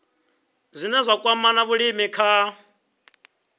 zwine zwa kwama vhulimi kha